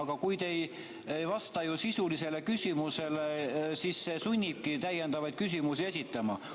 Aga kui te ei vasta sisulisele küsimusele, siis see sunnib täiendavaid küsimusi esitama.